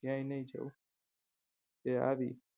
ક્યાંય નહીં જવું તે આવી